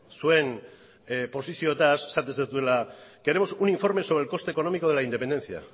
zuen posizioez esaten duzuela queremos un informe sobre el coste económico de la independencia